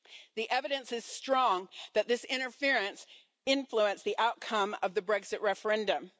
The evidence is strong that this interference influenced the outcome of the Brexit referendum.